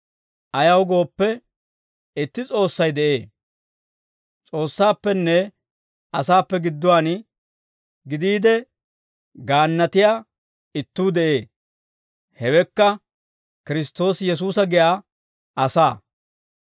Ayaw gooppe, itti S'oossay de'ee; S'oossaappenne asaappe gidduwaan gidiide gaannatiyaa ittuu de'ee. Hewekka Kiristtoosi Yesuusa giyaa asaa.